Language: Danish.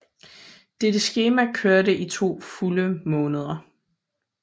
Dette skema kørte i to fulde måneder